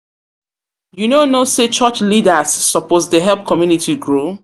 no know sey church leaders suppose dey help community grow?